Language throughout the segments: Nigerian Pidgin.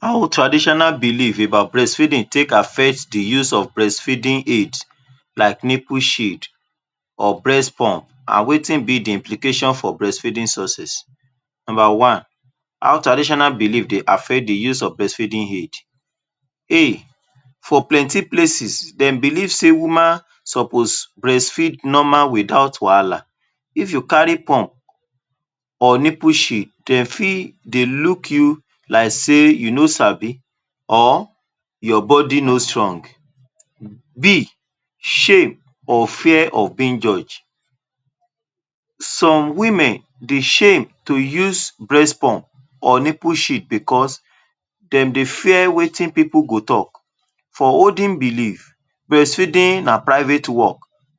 How traditional belief about breast feeding take affect the use of breast feeding aid, like nipul sheet, breast pump and and wetin be the implication for breast feeding success? Number one, how traditional belief dey affect the use of breast feeding aid? A: [for] plenty places dey belief sey woman suppose breast feed normal without wahala, if you kari pump or nipple sheet, dem fit dey look you like sey you no sabi or your body no strong. B: shame or fear of being judge, some women dey shem to use breast pump or nipul sheet because dem dey fear wetin pipul go talk, for olden belief breastfeeding na private work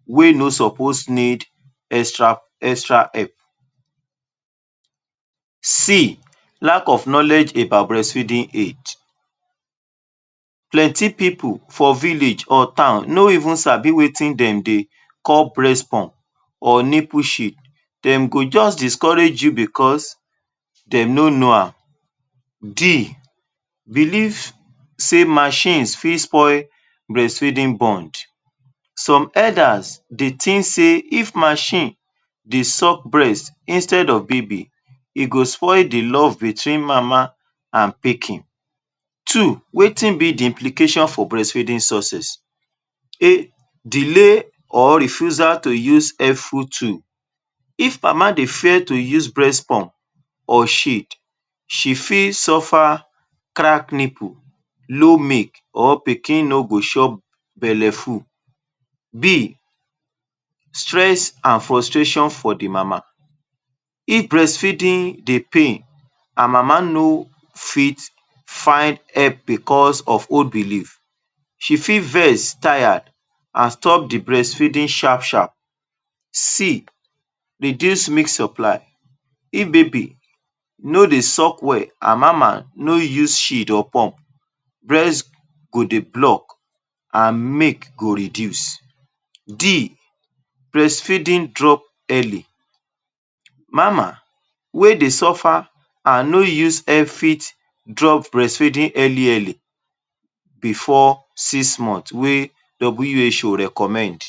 wey no sopos need extra help. C: lack of knowledge about breast feeding aid, plenty pipul for village or town no even sabi wetin dem dey call breast pump or nipul sheet, dem go just discourage you because dem no no am. D: belief sey mashin fit spoil breast feeding bond, some elders dey tink sey if mashin dey suck breast instead of baby, e go spoil the love between mama and pikin. Two: wetin be the implication for breast feeding success? A: delay or refusal to use [helpful tool] two,[if] mama dey fear to use breast pump or sheet, she fit suffer crack nipul, low milk or pikin no go chop belefu. B: stress and frustration for the mama. If breast feeding dey pain and mama no fit find help because of old belief, she fit ves, tire and stop the breast feeding sharp-sharp. C: reduce milk supply, if baby no dey suck well and mama no use sheet or pump, breast go dey block and milk go reduce. D: breast feeding drop early, mama wey dey surfer and no even fit drop braest feeding early-early before six month wey WHO recommend.